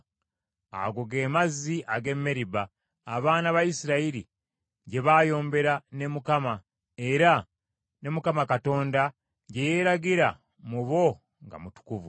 Ago ge mazzi ag’e Meriba, abaana ba Isirayiri gye baayombera ne Mukama , era ne Mukama Katonda gye yeeragira mu bo nga mutukuvu.